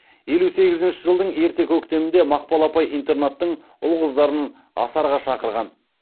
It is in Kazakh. елу сегізінші жылдың ерте көктемінде мақпал апай интернаттың ұл қыздарын асарға шақырған